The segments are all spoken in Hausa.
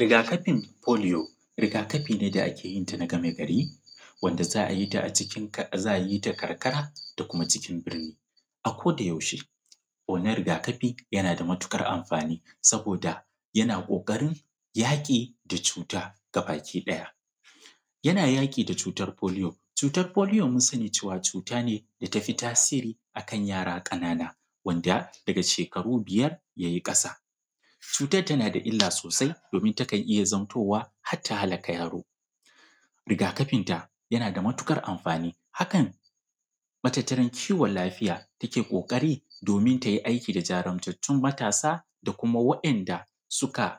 Rigakafin foliyo rigakafi ne da ake yin ta na gama gari wanda za a yi ta a karkara da kuma cikin birni. A koda yaushe wannan rigakafi yana da matuƙar amfani saboda yana ƙoƙarin yaƙi da cuta gabaki ɗaya, yana yaƙi da cutar foliyo. Cutar foliyo mun sani cewa cuta ne da tafi tasiri a kan yara ƙanana wanda daga shekaru biyar ya yi ƙasa. Cutar tana da illa sosai domin takan iya zamtowa har ta halaka yaro. Rigakafin ta yana da matuƙar amfani hakan matataran kiwan lafiya take ƙoƙarin domin ta yi aiki da jajurtan matasa da kuma wa'inda suke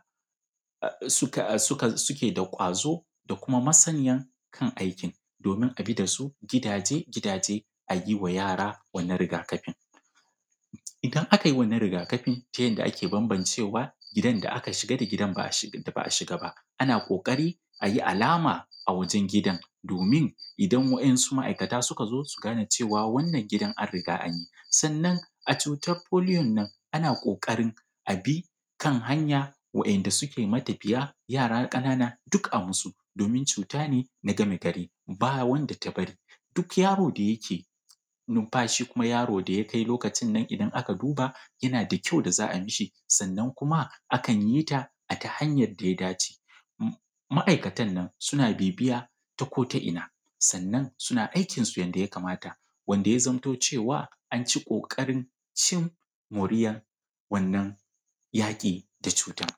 da ƙwazo da kuma masaniya a kan aikin domin a bi da su gidaje gidaje a yi wa yara wannan rugakafin. Idan aka yi wannan rigakafi ta yanda ake bambancewa gidan da aka shiga da gidan da ba a shiga ba, ana ƙoƙari a yi alama a wajan gidan domin idan wasu ma'aikata suka zo su gane cewa wannan gidan an riga an yi. Sannan a cutar foliyo nan a na ƙokarin a bi kan hanya wa'inda suke matafiya, yara ƙanana duk a yi masu domin cuta ne na gamagari, ba wanda ta bari. Duk yaro da yake numfashi kuma yaro da yakai lokacin nan idan aka duba yana da kyau da za ayi ma shi. Sannan kuma akan yi ta ta hanya da ya dace. Ma'aikata nan suna bibiya ta ko ta ina sannan suna aikin su yanda ya kamata wanda ya zamto cewa a ci ƙoƙarin cin moriyan wannan yaƙi da cutar.